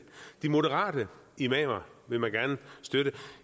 de moderate imamer vil man gerne støtte